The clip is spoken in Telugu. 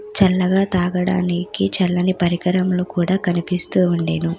చల్లగా తాగడానికి చల్లని పరికరములు కూడా కనిపిస్తూ ఉండెను.